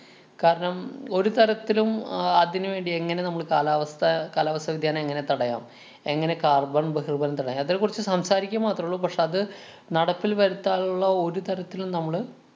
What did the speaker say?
കാരണം, ഒരു തരത്തിലും അഹ് അതിനുവേണ്ടി എങ്ങനെ നമ്മള് കാലാവസ്ഥ കാലാവസ്ഥ വ്യതിയാനം എങ്ങനെ തടയാം? എങ്ങനെ carbon ബഹിര്‍മനം തടയാം? അതേക്കുറിച്ച് സംസാരിക്കുക മാത്രള്ളു. പക്ഷേ, അത് നടപ്പില്‍ വരുത്താനുള്ള ഒരു തരത്തിലും നമ്മള്